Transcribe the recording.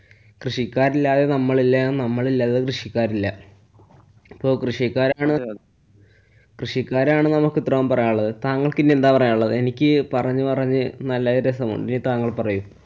കൃഷിക്കാരില്ലാതെ നമ്മളില്ല. നമ്മളില്ലാതെ കൃഷിക്കാരില്ല. ഇപ്പൊ കൃഷിക്കാരാണ് കൃഷിക്കാരാണ് നമുക്കിത്രോം പറയാനുള്ളത്. താങ്കള്‍ക്കിനി എന്താ പറയാനുള്ളത്? എനിക്ക് പറഞ്ഞു പറഞ്ഞ്‌ നല്ല രസം~. ഇനി താങ്കള്‍ പറയൂ.